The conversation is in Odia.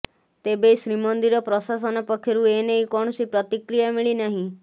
ତେବେ ଶ୍ରୀମନ୍ଦିର ପ୍ରଶାସନ ପକ୍ଷରୁ ଏନେଇ କୌଣସି ପ୍ରତିକ୍ରିୟା ମିଳିନାହିଁ